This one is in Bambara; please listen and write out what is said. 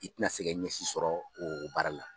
I tɛna se ka ɲɛsi sɔrɔ o baara la.